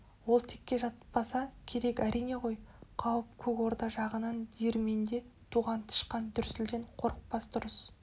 ол текке жатпаса керек әрине ғой қауіп көк орда жағынан диірменде туған тышқан дүрсілден қорықпас дұрыс